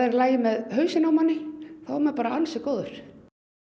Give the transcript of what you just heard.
lagi með hausinn á manni er maður bara ansi góður